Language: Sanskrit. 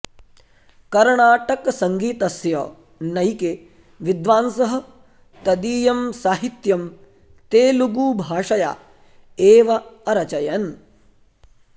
कर्णाटकसङ्गीतस्य नैके विद्वांसः तदीयं साहित्यं तेलुगुभाषया एव अरचयन्